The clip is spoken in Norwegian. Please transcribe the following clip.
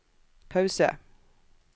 pause